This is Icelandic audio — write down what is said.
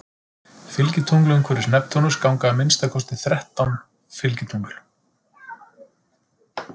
Fylgitungl Umhverfis Neptúnus ganga að minnsta kosti þrettán fylgitungl.